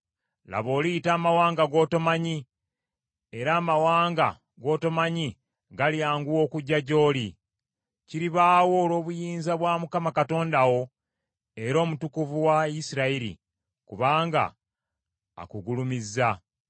Laba oliyita amawanga g’otomanyi, era amawanga g’otomanyi galyanguwa okujja gy’oli. Kiribaawo olw’obuyinza bwa Mukama Katonda wo era Omutukuvu wa Isirayiri kubanga akugulumizza.”